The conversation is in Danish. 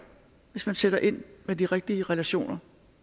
hvis man sætter ind med de rigtige relationer